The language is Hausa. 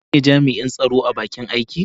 Shin kai ne jami'in tsaro a bakin aiki?